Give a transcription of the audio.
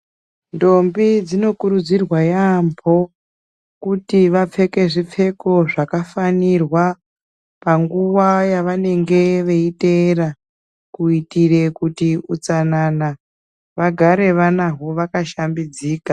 Ndombi dzinokurudzirwa yaamho kuti vapfeke zvipfeko zvakafanirwa panguva yavanenge veiteera kuitire kuti utsanana vagara vanhawo vakashambidzika .